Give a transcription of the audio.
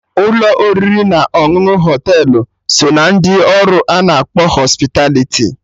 Ụlọ oriri na ọṅụṅụ na Họtelụ so ná ndị ọrụ ana akpọ Hospitaliti